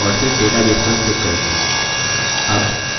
अब यह database wizard खोलता है